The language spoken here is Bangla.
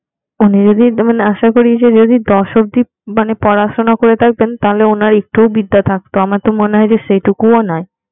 উনি যদি না আশা করি যে দশ অব্দি মানে পড়াশোনা করে থাকতেন তাহলে উনার একটু ভিতরে থাকতো আমার মনে হয় সেই টুকুও নাই